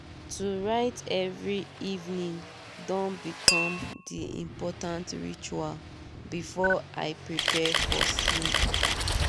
to write every evening don become de important ritual before i prepare for sleeep.